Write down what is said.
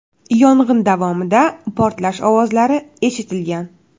Yong‘in davomida portlash ovozlari eshitilgan.